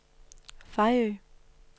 Fejø